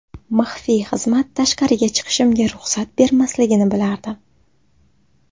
Maxfiy xizmat tashqariga chiqishimga ruxsat bermasligini bilardim.